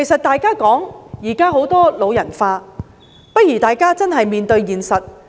大家現在常說人口"老人化"，大家應認真面對現實。